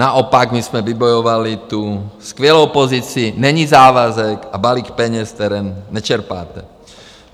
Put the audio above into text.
Naopak, my jsme vybojovali tu skvělou pozici: není závazek a balík peněz, které nečerpáte.